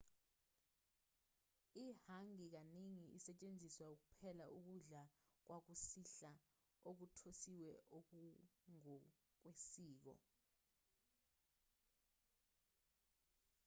i-hangi kaningi isetshenziselwa ukupheka ukudla kwakusihla okuthosiwe okungokwesiko